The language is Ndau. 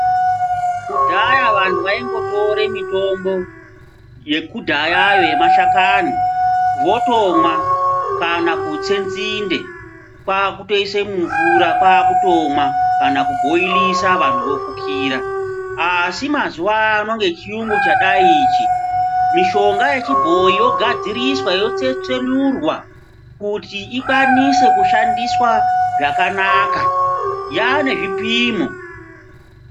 Kudhaya vantu vaingotore mitombo yekudhayayo yemashakani votomwa. Kana kutse nzinde kwakutoise mumvura kwakutomwa kana kubhoirisa vantu vofukira. Asi mazuva ano ngechiyungu chadai ichi mishonga yechibhoi yogadziriswa yotsetsenurwa kuti ikwanise kushandiswa zvakanaka yane zvipimo.